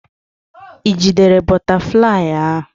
Ị jidere bụtaflịyị ahụ?